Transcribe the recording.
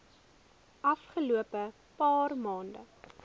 afgelope paar maande